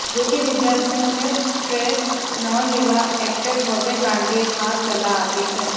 જો કે વિદ્યાર્થીઓને સ્ટ્રેસ ન લેવા એક્ટર ભવ્ય ગાંધીએ ખાસ સલાહ આપી છે